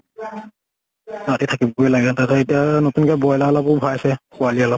তাৰ পিছত এতিয়া আৰু নতুন কে ব্ৰইলাৰ লবও ভয় আছে, পোৱালী অলপ